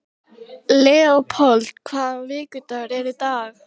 Leópold, hvaða vikudagur er í dag?